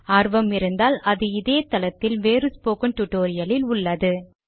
ஆர்வம் இருந்தால் அது இதே தளத்தில் வேறு ஸ்போக்கன் டுடோரியலில் உள்ளது